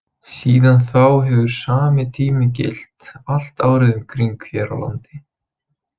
Síðan þá hefur sami tími gilt allt árið um kring hér á landi.